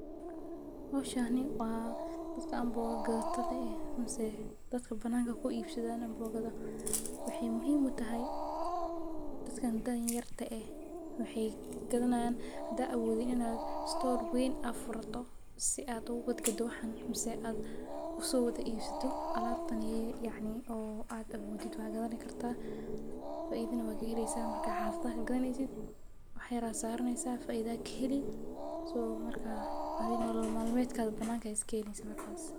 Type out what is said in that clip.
Howshan waa dadka amboga gadatada eh mise dadka bananka kuibsadan ambogada , waxay muhim utahay dadka da'a yarta eh oo awodin stor weyn in aa furato si aa ugugadgado waxaan , mise ad uso wada ibsato alabtan yacni oo ad awodid wad gadni kartah faidana kaheleysaah marka xafadaha kugadaneysid, wax yara a saraneysah faida aa kaheli , so marka adina nolol malmedka bananka ay iskeneysaah markas.